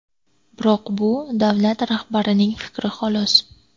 Biroq bu davlat rahbarining fikri xolos.